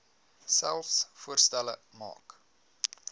selfs voorstelle maak